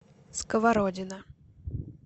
сковородино